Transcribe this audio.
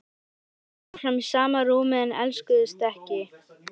Þau sváfu áfram í sama rúmi en elskuðust ekki.